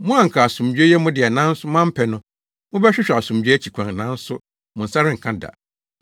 “Mo a anka asomdwoe yɛ mo dea nanso moampɛ no, mobɛhwehwɛ asomdwoe akyi kwan, nanso mo nsa renka da!